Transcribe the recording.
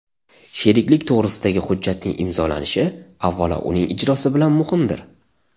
Sheriklik to‘g‘risidagi hujjatning imzolanishi avvalo uning ijrosi bilan muhimdir.